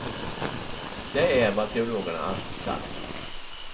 Det är vad teologerna alltid sagt.